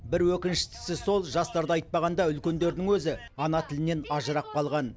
бір өкініштісі сол жастарды айтпағанда үлкендердің өзі ана тілінен ажырап қалған